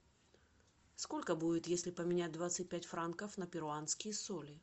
сколько будет если поменять двадцать пять франков на перуанские соли